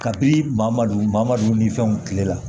Kabini mamadu madu ni fɛnw kile la